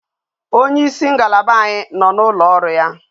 Onye isi ngalaba anyi no na ulo oru ya